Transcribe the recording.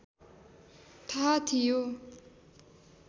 थाहा थियो